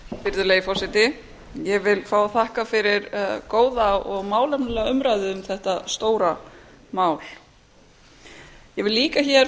virðulegi forseti ég vil fá að þakka fyrir góða og málefnalega umræðu um þetta stóra mál ég vil líka fá